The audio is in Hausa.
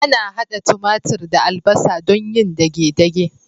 Ana hada timatir da albasa don yin dage-dage.